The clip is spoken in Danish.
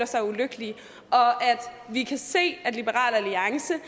sig ulykkelige vi kan se at liberal alliance